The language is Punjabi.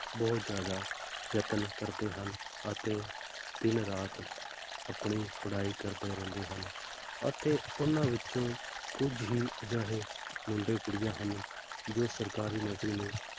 ਬਹੁਤ ਜ਼ਿਆਦਾ ਯਤਨ ਕਰਦੇ ਹਨ, ਅਤੇ ਦਿਨ ਰਾਤ ਆਪਣੀ ਪੜ੍ਹਾਈ ਕਰਦੇ ਰਹਿੰਦੇ ਹਨ, ਅਤੇ ਉਹਨਾਂ ਵਿੱਚੋਂ ਕੁੱਝ ਹੀ ਅਜਿਹੇ ਮੁੰਡੇ ਕੁੜੀਆਂ ਹਨ ਜੋ ਸਰਕਾਰੀ ਨੌਕਰੀ ਨੂੰ,